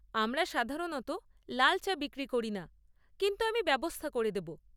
আমরা সাধারণত লাল চা বিক্রি করি না, কিন্তু আমি ব্যবস্থা করে দেব।